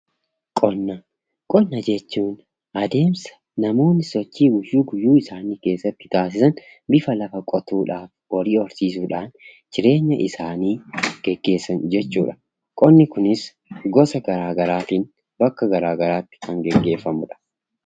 Qonna: Qonna jechuun adeemsa namoonni sochii guyyuu guyyuu isaanii keessatti taasisan bifa lafa qotuudhaani fi horii horsiisuudhaan jireenya isaanii geggeessan jechuu dha. Qonni kunis gosa garaagaraatiin bakka garaagaraatti kan geggeeffamuu dha.